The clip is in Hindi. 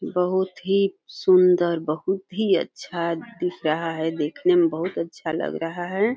बहोत ही सुंदर बहोत ही अच्छा दिख रहा है। देखने में बहोत अच्छा लग रहा है।